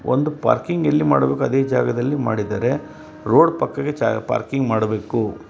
ಒಂದು ಪಾರ್ಕಿಂಗ್ ಎಲ್ ಮಾಡಬೇಕು ಆ ಜಗದಲ್ಲಿ ಮಾಡಿದರೆ ರೋಡ್ ಪಕ್ಕ ಜಾಗ ಪಾರ್ಕಿಂಗ ಮಾಡಬೇಕು.